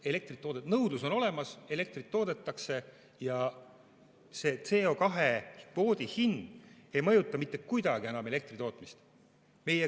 Nõudlus on olemas, elektrit toodetakse ja CO2 kvoodi hind ei mõjuta mitte kuidagi enam elektritootmist.